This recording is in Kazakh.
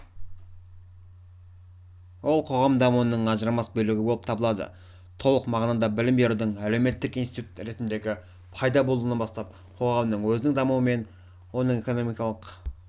ол қоғам дамуының ажырамас бөлігі болып табылады толық мағынада білім берудің əлеуметтік институт ретіндегі пайда болуынан бастап қоғамның өзінің дамуы оның экономикалық